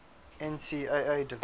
ncaa division